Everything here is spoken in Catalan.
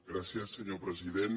gràcies senyor president